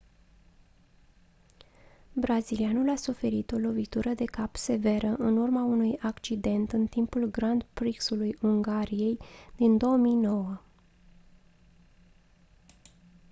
brazilianul a suferit o lovitură de cap severă în urma unui accident în timpul grand prix-ului ungariei din 2009